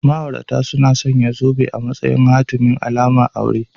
Ma'aurata suna sanya zobe a matsayin hatimi / alamar aure